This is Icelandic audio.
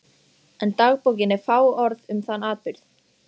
En dagbókin er fáorð um þann atburð.